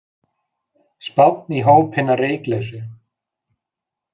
Spánn í hóp hinna reyklausu